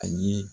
A ye